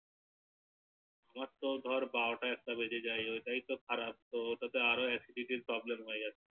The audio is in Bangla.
আমার তো ধার বারোটা একটা বেজে যায় ওইটাই তো খারাপ ওটাতে আরো Acidity Problem হয়ে যাচ্ছে